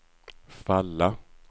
falla